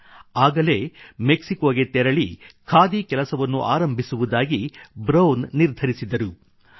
ಆಗಲೇ ಮೆಕ್ಸಿಕೊಗೆ ತೆರಳಿ ಖಾದಿ ಕೆಲಸವನ್ನು ಆರಂಭಿಸುವುದಾಗಿ ಬ್ರೌನ್ ನಿರ್ಧರಿಸಿದರು